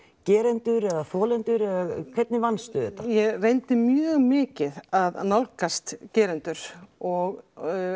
gerendur eða þolendur eða hvernig vannstu þetta ég reyndi mjög mikið að nálgast gerendur og